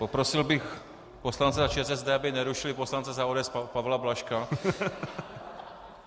Poprosil bych poslance za ČSSD, aby nerušili poslance za ODS Pavla Blažka...